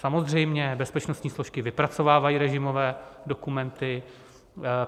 Samozřejmě, bezpečnostní složky vypracovávají režimové dokumenty.